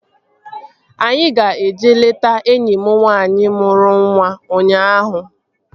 Anyị ga-eje leta enyi m nwaanyị mụrụ nwa ụnyaahụ